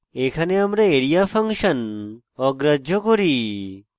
এখানে আমরা area function অগ্রাহ্য করি